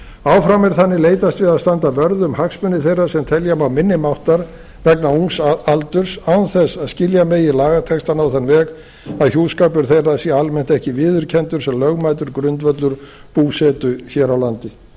áfram er þannig leitast við að standa vörð um hagsmuni þeirra sem telja má minni máttar vegna ungs aldurs án þess að skilja megi lagatextann á þann veg að hjúskapur þeirra sé almennt ekki viðurkenndur sem lögmætur grundvöllur búsetu hér á landi